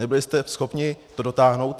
Nebyli jste schopni to dotáhnout.